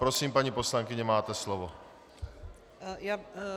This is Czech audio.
Prosím, paní poslankyně, máte slovo.